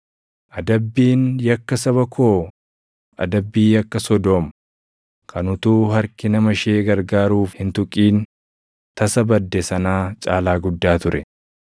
Adabbiin yakka saba koo adabbii yakka Sodoom kan utuu harki nama ishee gargaaruuf hin tuqin tasa badde sanaa caalaa guddaa ture.